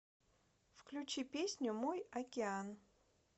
включи песню мой океан